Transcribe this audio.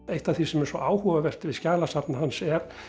eitt af því sem er svo áhugavert við skjalasafn hans er